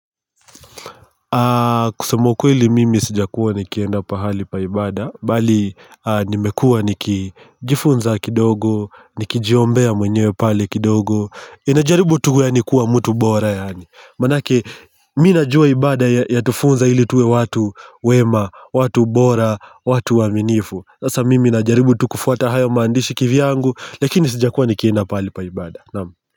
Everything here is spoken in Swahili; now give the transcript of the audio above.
Kusema ukweli mimi sijakuwa nikienda pahali pa ibada bali nimekuwa nikijifunza kidogo nikijiombea mwenyewe pale kidogo ninajaribu tu yaani kuwa mtu bora manake mimi najua ibada yatufunza ili tuwe watu wema. Watu bora, watu waminifu sasa mimi najaribu tu kufuata hayo maandishi kivyangu. Lakini sijakuwa nikienda pahali pa ibada. Naam.